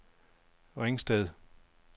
Ringsted